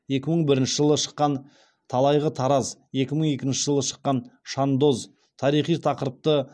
екі мың бірінші жылы шыққан талайғы тараз екі мың екінші жылы шыққан шандоз тарихи тақырыпты